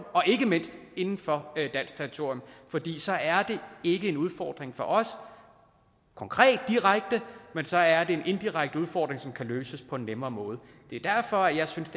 ikke mindst inden for dansk territorium fordi så er det ikke en udfordring for os konkret direkte men så er det en indirekte udfordring som kan løses på en nemmere måde det er derfor at jeg synes